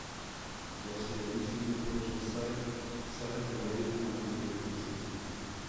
Za sajenje se priporoča vsaj dvoletna ali tri letna sadika.